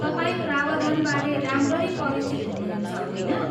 तपाईँ प्रावधानबारे राम्ररी परिचित हुनुहुन्छ, होइन?